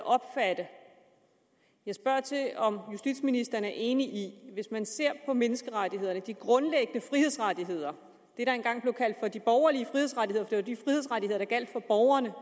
opfatte jeg spørger til om justitsministeren er enig i at hvis man ser på menneskerettighederne de grundlæggende frihedsrettigheder det der engang blev kaldt for de borgerlige frihedsrettigheder for det var de frihedsrettigheder der gjaldt for borgerne